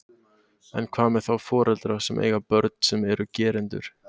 En hvað með þá foreldra sem eiga börn sem eru gerendur?